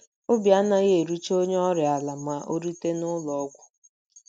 Obi anaghị erucha onye ọrịa ala ma o rute n’ụlọ ọgwụ.